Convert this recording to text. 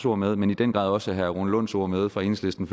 ord med men i den grad også herre rune lunds ord med fra enhedslisten